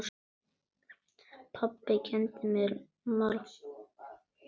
Pabbi kenndi mér margt.